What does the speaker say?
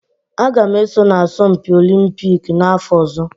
Aga m eso na asọmpi Olumpiki n'afọ ọzọ